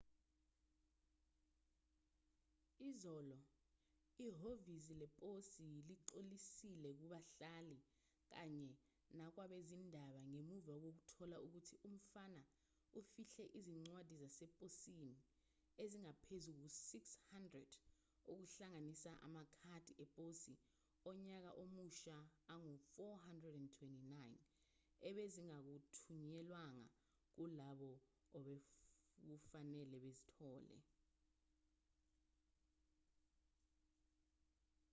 izolo ihhovisi leposi lixolisile kubahlali kanye nakwabezindaba ngemuva kokuthola ukuthi umfana ufihle izincwadi zaseposini ezingaphezu kuka-600 okuhlanganisa amakhadi eposi onyaka omusha angu-429 ebezingathunyelwanga kulabo obekufanele bazithole